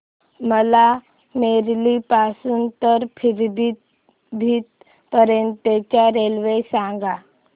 मला बरेली पासून तर पीलीभीत पर्यंत ची रेल्वे सांगा